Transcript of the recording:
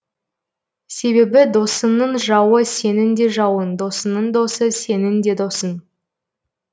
себебі досынның жауы сенің де жауын досынның досы сенің де досын